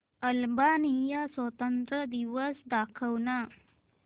Albania स्वातंत्र्य दिवस दाखव ना